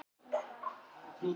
Gísli